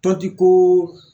Tɔnti ko